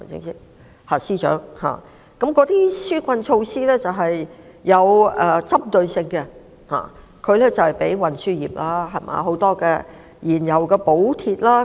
那些紓困措施是有針對性的，例如專為運輸業提供的燃油補貼。